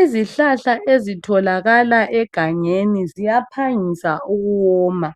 Izihlahla ezitholakala egangeni ziyaphangisa ukuwoma.